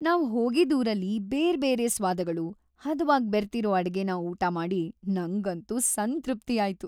ನಾವ್‌ ಹೋಗಿದ್‌ ಊರಲ್ಲಿ ಬೇರ್ಬೇರೆ ಸ್ವಾದಗಳು ಹದವಾಗ್‌ ಬೆರ್ತಿರೋ ಅಡ್ಗೆನ ಊಟ ಮಾಡಿ ನಂಗಂತೂ ಸಂತೃಪ್ತಿಯಾಯ್ತು.